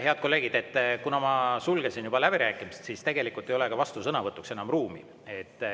Head kolleegid, kuna ma sulgesin läbirääkimised, siis tegelikult ei ole vastusõnavõtuks enam ruumi.